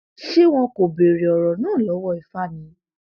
ṣé wọn kò béèrè ọrọ náà lọwọ ifá ni